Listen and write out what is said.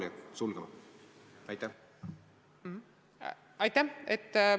Aitäh!